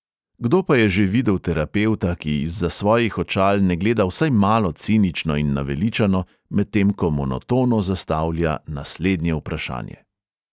Kdo pa je že videl terapevta, ki izza svojih očal ne gleda vsaj malo cinično in naveličano, medtem ko monotono zastavlja naslednje vprašanje?!